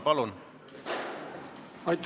Palun!